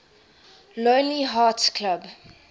lonely hearts club